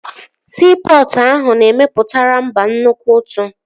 Siipọtụ ndị ahụ na-emepụtara mba nnukwu ụtụ